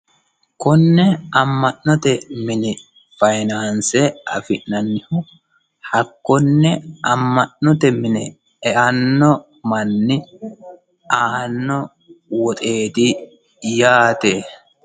Konne ama'note mine faayinanse afi'nannihu hakkone ama'note mine eano manni aano woxeti yaate.